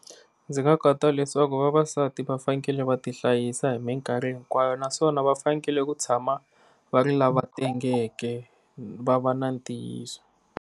Ndzi leswaku vavasati va fanakele va ti hlayisa hi minkarhi hinkwayo naswona va fanekele ku tshama va ri lava va tengeke va va na ntiyiso.